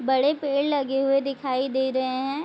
बड़े पेड़ लगे हुए दिखाई दे रहे है ।